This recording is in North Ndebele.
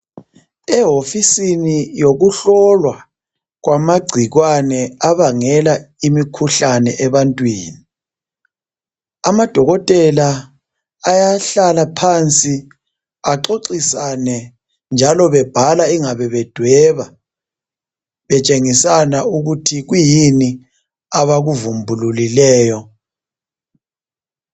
Ewofisini yokuhlolwa kwamagcikwane abangela imikhuhlane ebantwini, amadokotela ayahlala phansi axoxisane njalo bebhala ingabe bedweba betshengisana ukuthi kuyini abakuvumbululileyo.